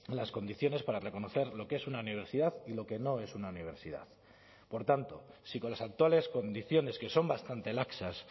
las condiciones para reconocer lo que es una universidad y lo que no es una universidad por tanto si con las actuales condiciones que son bastante laxas